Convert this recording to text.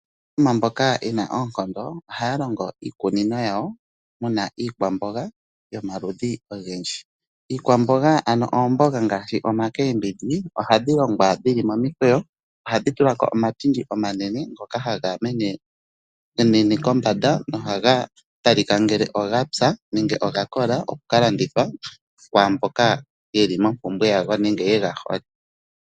Aanafaalama mboka ye na oonkondo ohaya longo iikunino yawo muna iikwamboga yomaludhi ogendji. Iikwamboga ngaashi oomboga ohadhi longwa dhili momikweyo, ohadhi tula ko omatindi omanene ngoka haga menene kombanda. Ohaga talika ngele oga oya nenge oga kola okuka landithwa kwaamboka yeli mompumbwe yago nenge yega hole.